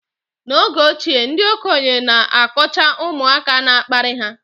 n’oge ochie, ndị okenye na-akọcha ụmụaka na-akparị ha